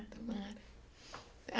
Tomara.